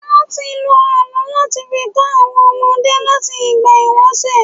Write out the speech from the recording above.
Wọ́n ti ń lo àlọ́ láti fi kọ́ àwọn ọmọdé láti ìgbà ìwàṣẹ̀.